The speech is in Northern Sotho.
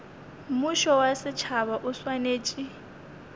mmušo wa setšhaba o swanetše